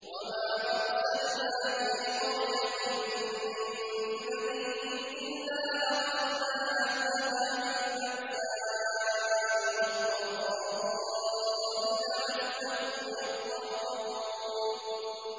وَمَا أَرْسَلْنَا فِي قَرْيَةٍ مِّن نَّبِيٍّ إِلَّا أَخَذْنَا أَهْلَهَا بِالْبَأْسَاءِ وَالضَّرَّاءِ لَعَلَّهُمْ يَضَّرَّعُونَ